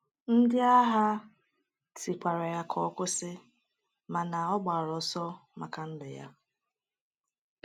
Ndị agha tikwara ya ka ọ kwụsị, mana ọ gbara ọsọ maka ndụ ya.